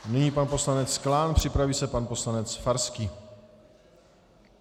Nyní pan poslanec Klán, připraví se pan poslanec Farský.